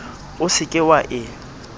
o se ke wa e